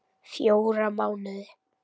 Fjóra mánuði.